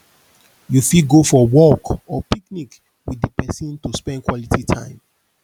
you fit go for walk or picnic with di person to spend quality time